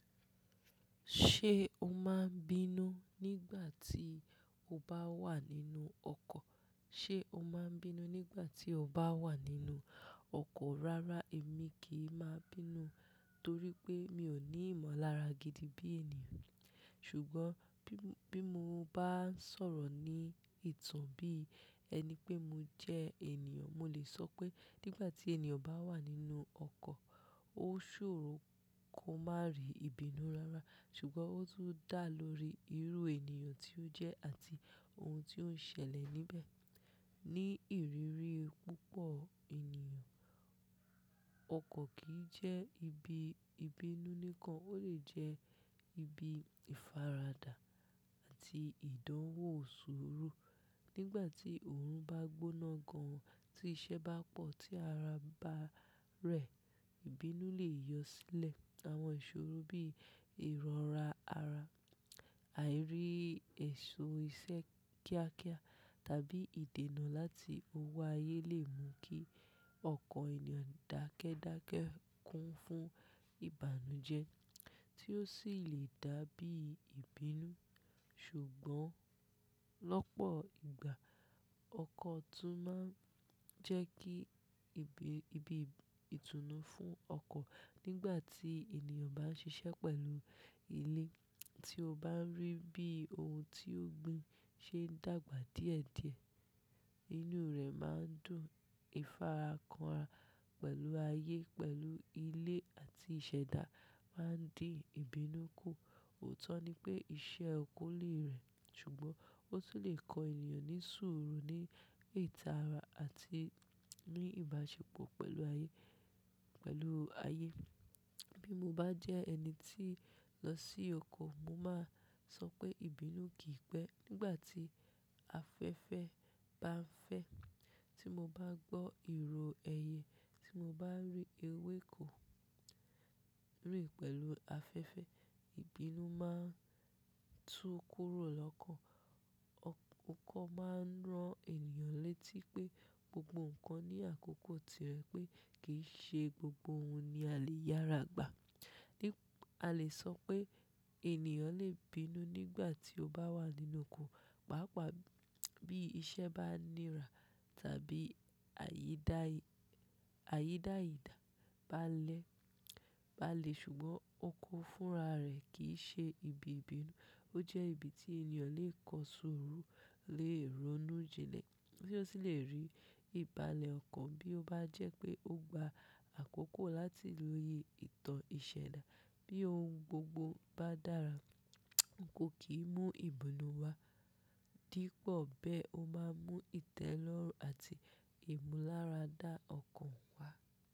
Ṣé o máa ń bínú nígbà tí o bá wà nínú ọkọ̀? Ṣé o máa ń bínú nígbà tí o bá wà nínú ọkọ̀? Rárá, èmi kì í má bínú torí pé mi ò ní ìmọ̀lára gidi bí ènìyàn. Ṣùgbọ́n bí mo bá ń sọ̀rọ̀ ní ìtàn bí ẹni pé mo jẹ́ ènìyàn, mo lè sọ pé nígbà tí ènìyàn bá wà nínú ọkọ̀, ó ṣòro kó má rí ìbínú rárá. Ṣùgbọ́n ó tún dà lórí irú ènìyàn tí ó jẹ́ àti ohun tí ó ń ṣẹlẹ̀ níbẹ̀. Ni ìrírí púpọ̀ ènìyàn, ọkọ̀ kì í jẹ́ ibi ìbínú nìkan, ó lè jẹ́ ibi ìfaradà àti ìdánwò sùúrù Nígbà tí òórùn bá gbóná gan, tí iṣẹ́ bá pọ̀, tí ara bá rẹ̀, ìbínú lè yọ sílẹ̀. Àwọn ìṣòro bí ìrọra ara, àìrí ẹ̀ṣọ́ iṣẹ́ kíákíá tàbí ìdènà láti òwò ayé lè mú kí ọkan ènìyàn dákẹ́dákẹ́ kún fún ìbànújẹ́ tí ó sì lè dàbí ìbínú. Ṣùgbọ́n lọ́pọ̀ ìgbà, ọkọ̀ tún máa ń jẹ́ kí ibi ìtùnú fún ọkọ̀. Nígbà tí ènìyàn bá ń ṣiṣẹ́ pẹ̀lú ilé tí ó bá ń rí bí ohun tí ó gbin ṣe ń dàgbà díẹ̀díẹ̀, inú rẹ̀ máa ń dùn. Ifara kanra pẹ̀lú ayé, pẹ̀lú ilé àti ìṣẹ̀dá máa ń dín ìbínú kù. Òótọ́ ni pé iṣẹ́ oko lè rẹ, ṣùgbọ́n ó tún lè kọ ènìyàn ní sùúrù ní ìtara àti ní ìbáṣepọ̀ pẹ̀lú ayé, pẹ̀lú ayé. Bí mo bá jẹ́ ẹni tí ń lọ sí oko, mo máa sọ pé ìbínú kì í pẹ́. Nígbà tí afẹ́fẹ́ bá ń fẹ́, tí mo bá gbọ́ ìró ẹyẹ, tí mo bá rí ewéko rìn pẹ̀lú afẹ́fẹ́, ìbínú máa ń tú kúrò lọ́kan. Ọkọ̀ máa ń rán ènìyàn létí pé gbogbo nǹkan ní àkókò tirẹ̀ pé kì í ṣe gbogbo ohun ni a lè yára gbà. A lè sọ pé ènìyàn lè bínú nígbà tí ó bá wà nínú oko, pàápàá bí iṣẹ́ bá nira tàbí àyídáìdà bá n lẹ̀ bá n le. Ṣùgbọ́n oko fúnra rẹ̀ kì í ṣe ibi ìbínú, ó jẹ́ ibi tí ènìyàn lè kọ sùúrù, lè ronú jinlẹ̀ tí ó sì lè rí ìbálẹ̀ ọkàn bí ó bá jẹ́ pé ó gba àkókò láti lóye ìtàn ìṣẹ̀dá. Bí ohun gbogbo bá dára, oko kì í mú ìbínú wá, dípọ̀ bẹ́ ó máa ń mú ìtẹ́lọ́rùn àti ìmúláradá ọkàn wá.